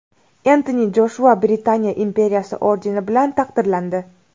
Entoni Joshua Britaniya imperiyasi ordeni bilan taqdirlandi.